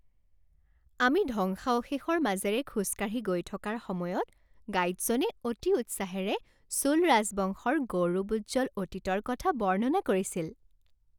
আমি ধ্বংসাৱশেষৰ মাজেৰে খোজ কাঢ়ি গৈ থকাৰ সময়ত গাইডজনে অতি উৎসাহেৰে চোল ৰাজবংশৰ গৌৰৱোজ্জ্বল অতীতৰ কথা বৰ্ণনা কৰিছিল।